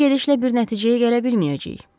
Bu gedişlə bir nəticəyə gələ bilməyəcəyik.